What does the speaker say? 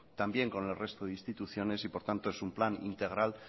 también con el resto de las instituciones y por tanto es un plan integral